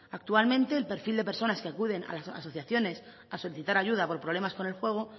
actualmente el perfil de personas que acuden a las asociaciones a solicitar ayuda por problemas con el juego